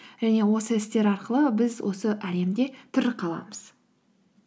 және осы істер арқылы біз осы әлемде тірі қаламыз